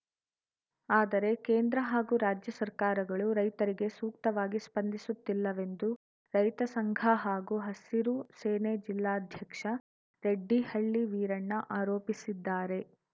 ಆದರೆ ಕೇಂದ್ರ ಹಾಗೂ ರಾಜ್ಯ ಸರ್ಕಾರಗಳು ರೈತರಿಗೆ ಸೂಕ್ತವಾಗಿ ಸ್ಪಂದಿಸುತ್ತಿಲ್ಲವೆಂದು ರೈತ ಸಂಘ ಹಾಗೂ ಹಸಿರು ಸೇನೆ ಜಿಲ್ಲಾಧ್ಯಕ್ಷ ರೆಡ್ಡಿಹಳ್ಳಿ ವೀರಣ್ಣ ಆರೋಪಿಸಿದ್ದಾರೆ